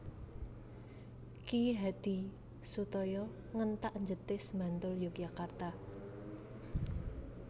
Ki Hadisutoyo Ngentak Jetis Bantul Yogyakarta